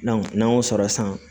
n'an y'o sɔrɔ san